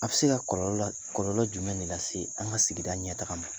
A bɛ se ka kɔlɔlɔ, kɔllɔ jumɛn de lase an ka sigida ɲɛ taga ma?